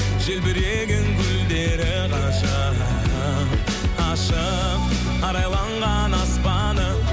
желбіреген гүлдері ғажап ашық арайланған аспаны